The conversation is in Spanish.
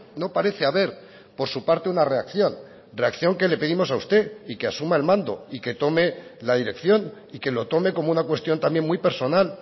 no parece haber por su parte una reacción reacción que le pedimos a usted y que asuma el mando y que tome la dirección y que lo tome como una cuestión también muy personal